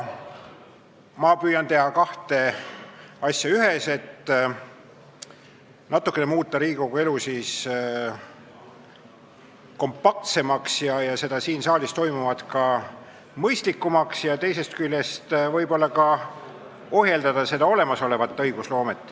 Ma püüan nüüd teha kaks-ühes-asja, muuta Riigikogu elu natukene kompaktsemaks ja siin saalis toimuvat ka mõistlikumaks ning teisest küljest võib-olla ohjeldada olemasolevat õigusloomet.